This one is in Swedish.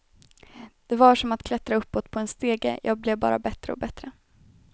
Det var som att klättra uppåt på en stege, jag blev bara bättre och bättre.